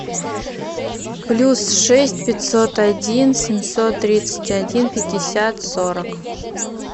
плюс шесть пятьсот один семьсот тридцать один пятьдесят сорок